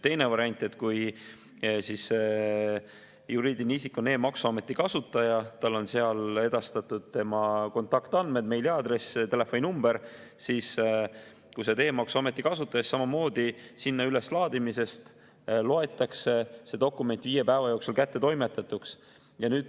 Teine variant, et kui juriidiline isik on e‑maksuameti kasutaja, sinna on edastatud tema kontaktandmed, meiliaadress, telefoninumber, siis samamoodi, viie päeva jooksul üleslaadimisest loetakse see dokument kättetoimetatuks.